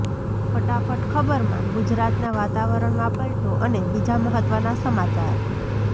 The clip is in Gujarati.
ફટાફટ ખબરમાં ગુજરાતના વાતાવરણમાં પલટો અને બીજા મહત્વના સમાચાર